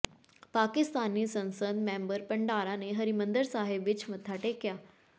ਪਾਕਿਸਤਾਨੀ ਸੰਸਦ ਮੈਂਬਰ ਭੰਡਾਰਾ ਨੇ ਹਰਿਮੰਦਰ ਸਾਹਿਬ ਵਿੱਚ ਮੱਥਾ ਟੇਕਿਆ